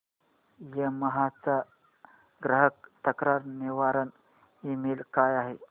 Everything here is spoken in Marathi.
यामाहा चा ग्राहक तक्रार निवारण ईमेल काय आहे